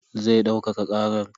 Zai daukaka karar.